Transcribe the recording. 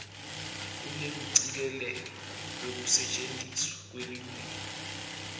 kunekucikelelwa kwekusetjentiswa kwelulwimi